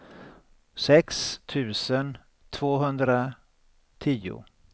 sex tusen tvåhundratio